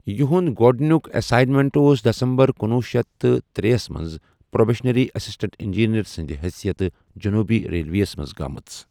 یِہُنٛد گۅڈنیُک اٮ۪ساینمٮ۪نٹ اوس دسمبرکنۄہ شیتھ ترے منٛز پروبیشنری اسسٹنٹ انجینئر سٕنٛدِ حثیت جنوبی ریلویس منٛز گٲمٕژ۔